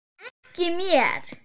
Ekki mér.